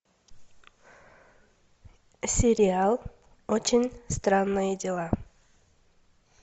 сериал очень странные дела